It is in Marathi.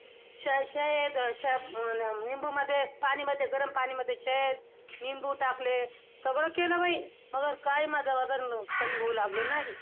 शह~शहद~ शह~निंबू मध्ये, पाणी मध्ये, गरम पाणीमध्ये, शहद-निंबू टाकले. सगळं केलं बाई! मगर काय माझं वजन कमी होऊ लागलं नाही.